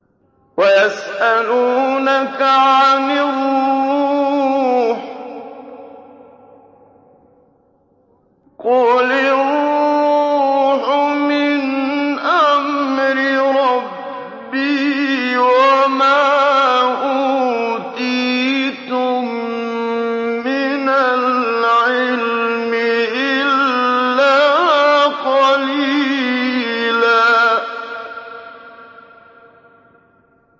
وَيَسْأَلُونَكَ عَنِ الرُّوحِ ۖ قُلِ الرُّوحُ مِنْ أَمْرِ رَبِّي وَمَا أُوتِيتُم مِّنَ الْعِلْمِ إِلَّا قَلِيلًا